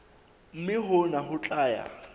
mme hona ho tla ya